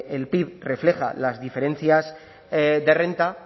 el pib refleja las diferencias de renta